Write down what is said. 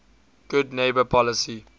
good neighbor policy